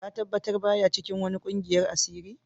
Ka tabatar ba ya cikin wani ƙungiyan asiri?